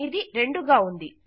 ఇది 2 గా ఉంది